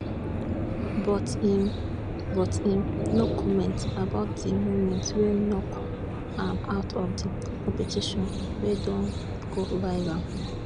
but im but im no comment about di moment wey knock am out of di competition wey don go viral